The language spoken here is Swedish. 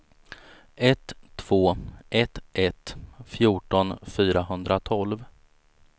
ett två ett ett fjorton fyrahundratolv